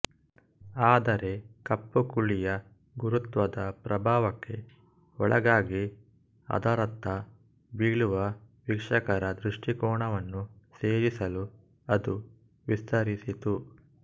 ಆದರೆ ಕಪ್ಪುಕುಳಿಯ ಗುರುತ್ವದ ಪ್ರಭಾವಕ್ಕೆ ಒಳಗಾಗಿ ಅದರತ್ತ ಬೀಳುವ ವೀಕ್ಷಕರ ದೃಷ್ಟಿಕೋನವನ್ನು ಸೇರಿಸಲು ಅದು ವಿಸ್ತರಿಸಿತು